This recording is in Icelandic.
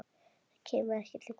Það kemur ekki til greina!